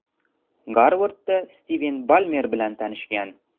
Garvardda Stiven Balmer bilan tanishgan.